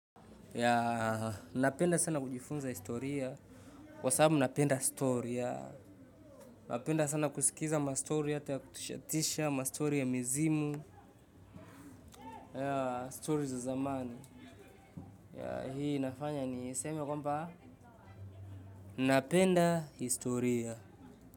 Napenda sana kujifunza historia, kwa sababu napenda stori ya, napenda sana kusikiza ma stori hata ya kutishatisha, ma stori ya mizimu, stori za zamani. Hii inafanya niseme kwamba napenda historia.